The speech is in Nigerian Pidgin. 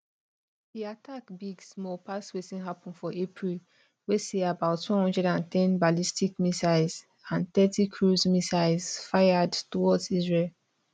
di attack big small pass wetin happun for april wey see about 110 ballistic missiles and thirty cruise missiles fired towards israel